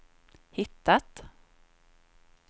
hittat